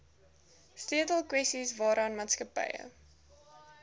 sleutelkwessies waaraan maatskappye